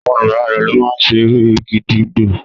Àwọn àgbàlagbà lo ma ṣe ere gídígbò